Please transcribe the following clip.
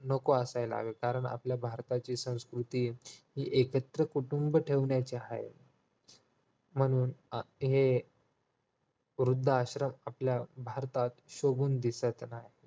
नको असायला हवे कारण आपल्या भारताची संस्कृती हि एकत्र कुटुंब ठेवण्याची आहे म्हणून हे वृद्धाश्रम आपल्या भारतात शोभून दिसत नाही